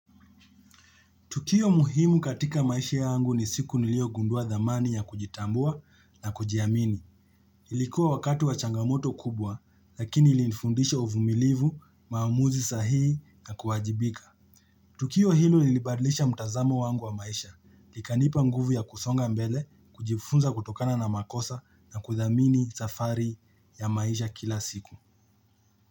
Tukio muhimu katika maisha yangu ni siku nilio gundua dhamani ya kujitambua na kujiamini. Ilikuwa wakati wa changamoto kubwa lakini ilinfundisha uvumilivu, maamuzi sahii na kuwajibika. Tukio hilo ilibadlisha mtazamo wangu wa maisha. Ikanipa nguvu ya kusonga mbele, kujifunza kutokana na makosa na kuthamini safari ya maisha kila siku.